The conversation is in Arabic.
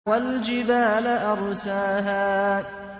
وَالْجِبَالَ أَرْسَاهَا